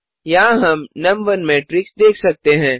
यहाँ हम नुम1 मैट्रिक्स देख सकते हैं